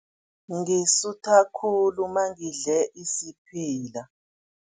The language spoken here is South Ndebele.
Ngisutha khulu mangidle isiphila.